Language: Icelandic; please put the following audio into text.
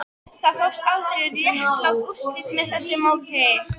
Það fást aldrei réttlát úrslit með því móti